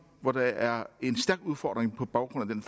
hvor der er en stærk udfordring på baggrund af den